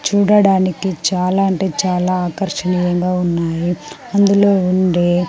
చూడడానికి చాలా అంటే చాలా ఆకర్షణీయంగా ఉన్నాయి ఇందులో ఉండే.